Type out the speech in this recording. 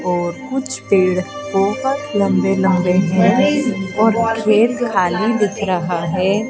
और कुछ पेड़ बोहोत लंबे-लंबे है और खेत खाली दिख रहा है।